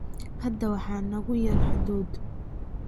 Hadda waxaa nagu yar hadhuudh.